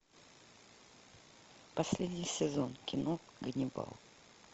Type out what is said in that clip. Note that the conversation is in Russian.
последний сезон кино ганнибал